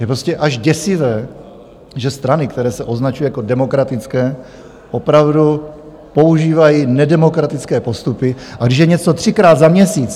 Je prostě až děsivé, že strany, které se označují jako demokratické, opravdu používají nedemokratické postupy, a když je něco třikrát za měsíc...